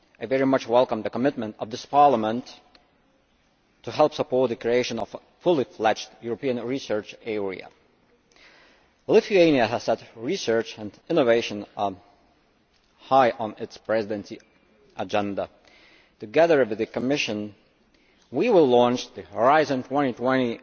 I very much welcome the commitment of this Parliament to help support the creation of a fully fledged European Research Area. Lithuania has had research and innovation high on its Presidency agenda. Together with the Commission, we will launch the Horizon 2020